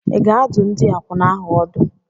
Ị ga-adụ ndị akwụna ahụ ọdụ?